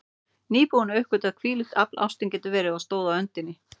Nýbúin að uppgötva hvílíkt afl ástin getur verið, og stóð á öndinni.